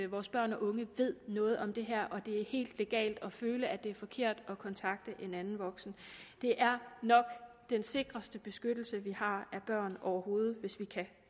vores børn og unge ved noget om det her er helt legalt for dem at føle at det er forkert og kontakte en anden voksen det er nok den sikreste beskyttelse vi har af børn overhovedet hvis vi kan